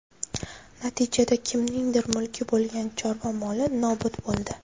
Natijada kimningdir mulki bo‘lgan chorva moli nobud bo‘ldi.